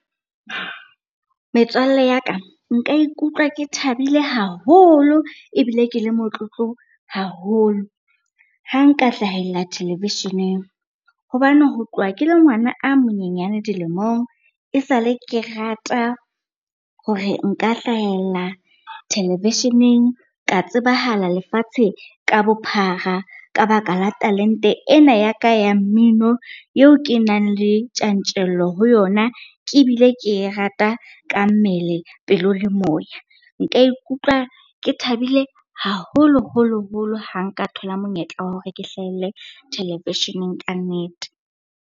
Metswalle ya ka, nka ikutlwa ke thabile haholo ebile ke le motlotlo haholo ha nka hlahella televisheneng. Hobane ho tloha ke le ngwana a monyenyane dilemong, esale ke rata hore nka hlahella televisheneng ka tsebahala lefatshe ka bophara ka baka la talente ena ya ka ya mmino eo ke nang le tjantjello ho yona, ebile ke e rata ka mmele pelo le moya. Nka ikutlwa ke thabile haholoholo holo ha nka thola monyetla wa hore ke hlahelle televisheneng ka nnete.